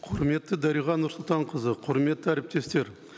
құрметті дариға нұрсұлтанқызы құрметті әріптестер